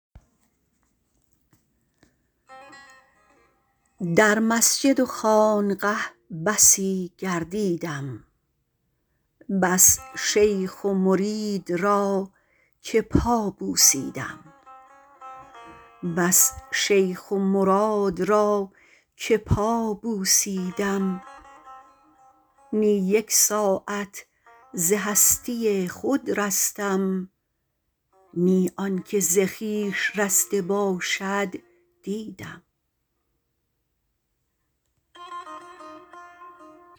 در مسجد و خانقه بسی گردیدم بس شیخ و مرید را که پا بوسیدم نی یک ساعت ز هستی خود رستم نی آن که ز خویش رسته باشد دیدم